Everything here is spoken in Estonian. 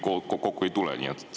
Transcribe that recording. Aga ilmselt kõik kokku ei tule.